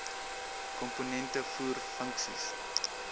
komponente voer funksies